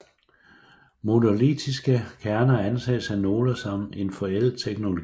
Monolitiske kerner anses af nogle som en forældet teknologi